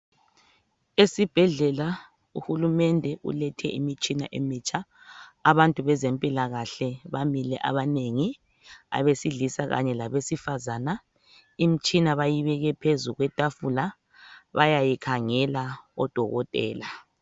Esibhedlela uhulumende ulethe imitshina emitsha. Abantu bezempilakahle bamile abanengi, abesilisa kanye labesifazane. Imtshina bayibeke phezu kwetafula bayayikhangela odokotela.